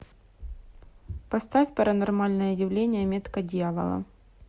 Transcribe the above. поставь паранормальное явление метка дьявола